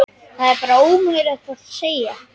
Það er bara ómögulegt að segja.